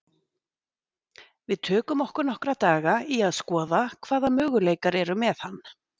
Við tökum okkur nokkra daga í að skoða hvaða möguleikar eru með hann.